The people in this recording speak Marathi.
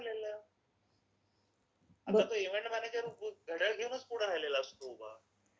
त्या नाही राहिलेल्या. अगं तो इव्हेंट मॅनेजर घड्याळ घेऊनच पुढे राहिलेला असतो उभा.